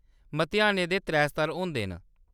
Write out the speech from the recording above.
मतेहानै दे त्रै स्तर होंदे न।